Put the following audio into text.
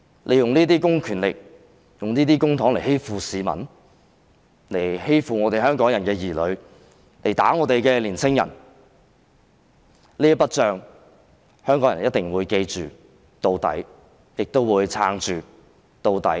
你們用這些公權力和公帑來欺負市民和香港人的兒女，以及毆打我們的青年人，香港人一定會永遠記着這筆帳，亦會撐到底。